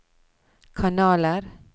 kanaler